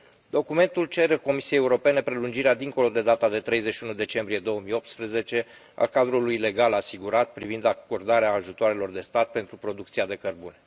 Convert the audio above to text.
Documentul cere Comisiei Europene prelungirea dincolo de data de 31 decembrie 2018 a cadrului legal asigurat privind acordarea ajutoarelor de stat pentru producția de cărbune.